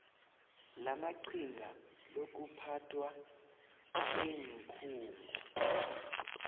lamaqhinga lokuphathwa kweenkhungo